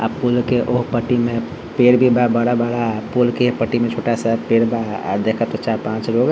अ पूल के ओ पटी में पेड़ भी बा बड़ा-बड़ा पूल के ए पटी में छोटा सा पेड़ बा अ देख तो चार पांच लोग --